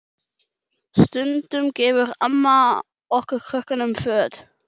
Stundum gefur amma okkur krökkunum föt.